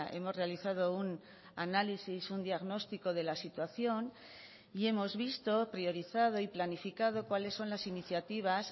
hemos realizado un análisis un diagnóstico de la situación y hemos visto priorizado y planificado cuáles son las iniciativas